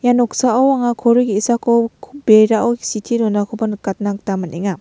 ia noksao anga kori ge·sako berao sitee donakoba nikatna gita man·enga.